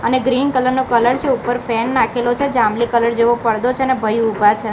અને green colour નો colour છે ઉપર ફેન નાખેલો છે જાંબલી કલર જેવો પરદો છે ને ભઈ ઉભા છે.